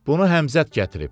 Bunu Həmzət gətirib.